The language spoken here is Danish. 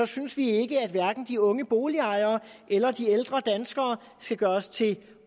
synes vi at hverken de unge boligejere eller de ældre danskere skal gøres til